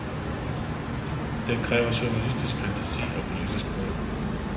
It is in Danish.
Den kræver journalistisk fantasi og politisk mod.